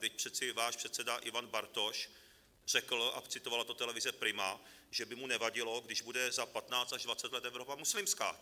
Vždyť přece váš předseda Ivan Bartoš řekl, a citovala to televize Prima, že by mu nevadilo, když bude za 15 až 20 let Evropa muslimská.